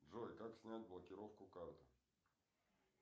джой как снять блокировку карты